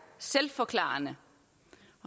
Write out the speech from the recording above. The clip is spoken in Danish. selvforklarende